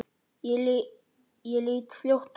Ég lít fljótt af honum.